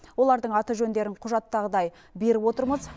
олардың аты жөндерін құжаттағыдай беріп отырмыз